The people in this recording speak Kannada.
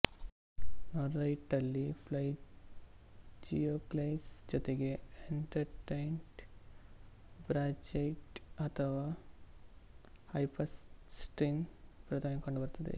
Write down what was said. ನೋರೈಟ್ನಲ್ಲಿ ಪ್ಲೇಜಿಯೊಕ್ಲೇಸ್ ಜತೆಗೆ ಎನ್ಸ್ಟಟೈಟ್ ಬ್ರಾನ್ಜೈಟ್ ಅಥವಾ ಹೈಪರ್ಸ್ತೀನ್ ಪ್ರಧಾನವಾಗಿ ಕಂಡುಬರುತ್ತವೆ